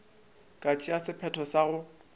ka tšea sephetho sa go